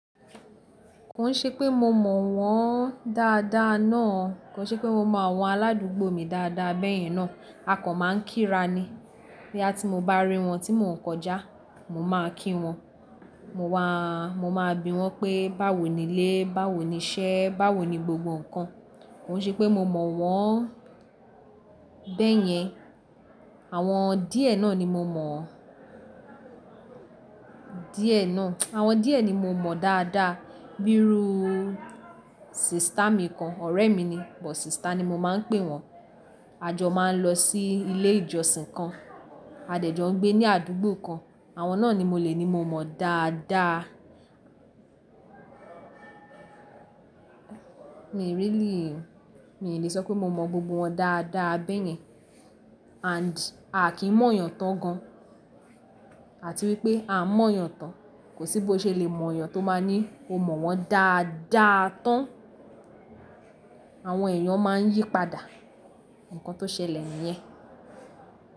Ko n ṣe pé mo mọ̀ wọ́n dáadáa náà, kó n ṣe pé mo mọ àwọn aládùúgbò mi dáadáa bẹ́yẹn náà. A kò máa ń kíra ni. Bí à tí mo bá rí wọn tí mò ń kọjá, mo máa kí wọn. Mo wa-- mo máa bi wọ́n pé báwo ni ilé, báwo ni iṣẹ́, báwo ni gbogbo ǹkan. Ó ṣe pé mo mọ̀ wọ́n bẹ́yẹn. Àwọn díẹ̀ náà ni mo mọ̀ díẹ̀ náà. Àwọn díẹ̀ ni mo mọ̀ dáadáa. Bírú ú, sista mi kan, ọ̀rẹ́ mi ni, but sista ni mo máa ń pè wọ́n. A jọ máa ń lọ sí ilé ìjọsìn kan. A dẹ̀ jọ ń gbé ní àdúgbò kan. Àwọn náà ni mo lè ní mo mọ̀ dáadáa. Mi ò really, mi ò lè sọ pé mo mọ̀ gbogbo wọn dáadáa bẹ́yẹn. And a kì í mọ̀ èèyàn tán gan. Àti wípé a mọ̀ èèyàn tán, kò sí bó ṣe lè mọ̀ èèyàn tó máa ní o mọ̀ wọ́n dáadáa tán. Àwọn èèyàn máa ń yípadà ǹkan tó ṣẹlẹ̀ nìyẹn.